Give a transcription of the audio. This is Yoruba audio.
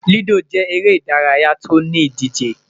Ludo jẹ ere idaraya ti o ni idije